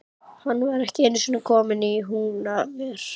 Hann var ekki einusinni kominn í Húnaver.